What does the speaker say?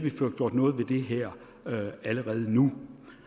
at få gjort noget ved det her allerede nu